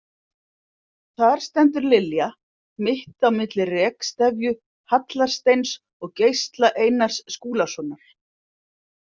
Þar stendur Lilja, mitt á milli Rekstefju Hallar- Steins og Geisla Einars Skúlasonar.